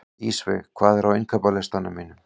Ísveig, hvað er á innkaupalistanum mínum?